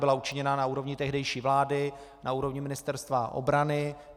Byla učiněna na úrovni tehdejší vlády, na úrovni Ministerstva obrany.